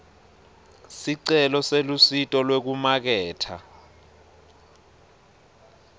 sicelo selusito lwekumaketha